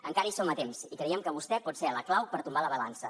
encara hi som a temps i creiem que vostè pot ser la clau per tombar la balança